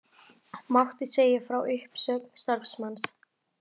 Mátti segja frá uppsögn starfsmanns